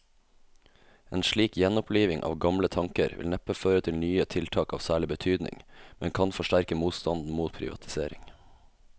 En slik gjenoppliving av gamle tanker vil neppe føre til nye tiltak av særlig betydning, men kan forsterke motstanden mot privatisering.